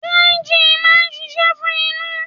Dry gin máa ń ṣíṣe fún inú.